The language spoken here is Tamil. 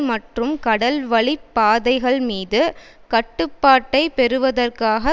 மற்றும் கடல்வழிப் பாதைகள்மீது கட்டுப்பாட்டைப் பெறுவதற்காக